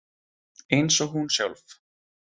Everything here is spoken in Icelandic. Eins og hún sjálf.